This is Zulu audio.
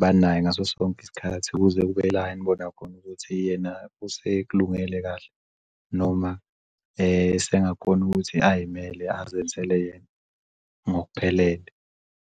Banaye ngaso sonke isikhathi kuze kube layini obonakhona ukuthi yena usekulungele kahle noma sengakhona ukuthi ayimele azenzele yena ngokuphelele.